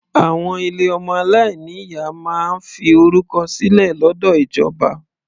Àwọn ilé ọmọ aláìní ìyá máa ń fi orúkọ sílẹ̀ lọ́dọ̀ ìjọba.